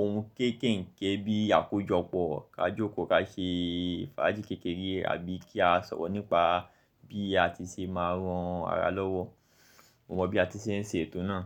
ohun kéékèèké bíi àkójọpọ̀, ká jókòó ká ṣe fáájì kékeré àbí kí a sọ̀rọ̀ nípa bí a ti ṣe máa rán ara lọ́wọ́. Mo mọ̀ bí a ti ṣe ń ṣe ètò náà.